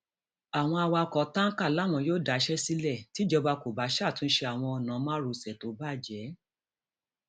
àwọn awakọ táǹkà làwọn yóò daṣẹ sílẹ tìjọba kó bá ṣàtúnṣe àwọn ọnà márosẹ tó bàjẹ